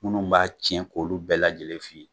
Minnu b'a tiɲɛ k'olu bɛɛ lajɛlen f'i ye.